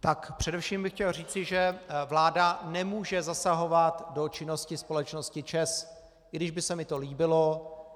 Tak především bych chtěl říci, že vláda nemůže zasahovat do činnosti společnosti ČEZ, i když by se mi to líbilo.